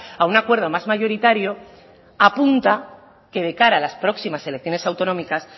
a un acuerdo más mayoritario apunta que de cara a las próximas elecciones autonómicas